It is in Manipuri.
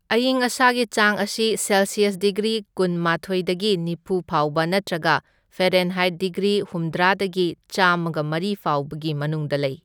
ꯑꯌꯤꯡ ꯑꯁꯥꯒꯤ ꯆꯥꯡ ꯑꯁꯤ ꯁꯦꯜꯁꯤꯌꯁ ꯗꯤꯒ꯭ꯔꯤ ꯀꯨꯟꯃꯥꯊꯣꯢꯗꯒꯤ ꯅꯤꯐꯨ ꯐꯥꯎꯕ ꯅꯠꯇ꯭ꯔꯒ ꯐꯩꯔꯦꯟꯍꯥꯏꯠ ꯗꯤꯒ꯭ꯔꯤ ꯍꯨꯝꯗ꯭ꯔꯥꯗꯒꯤ ꯆꯥꯝꯃꯒ ꯃꯔꯤ ꯐꯥꯎꯕꯒꯤ ꯃꯅꯨꯡꯗ ꯂꯩ꯫